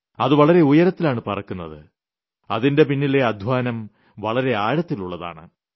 അത് വളരെ ഉയരത്തിലാണ് പറക്കുന്നത് അതിന്റെ പിന്നിലെ അദ്ധ്വാനം വളരെ ആഴത്തിലുളളതാണ്